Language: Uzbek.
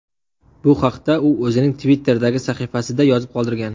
Bu haqda u o‘zining Twitter’dagi sahifasida yozib qoldirgan .